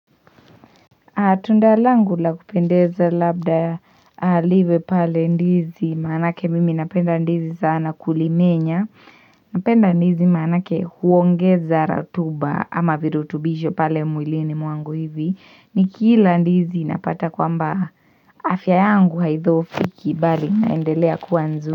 Tunda langu la kupendeza labda liwe pale ndizi maanake mimi napenda ndizi sana kulimenya Napenda ndizi maanake huongeza ratuba ama virutubisho pale mwilini mwangu hivi Nikila ndizi napata kwamba afya yangu haithohofiki bali naendelea kua nzuri.